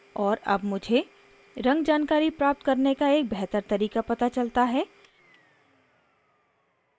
और अब मुझे रंग जानकारी प्राप्त करने का एक बेहतर तरीका पता चलता है